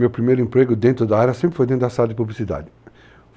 Meu primeiro emprego dentro da área sempre foi dentro da sala de publicidade.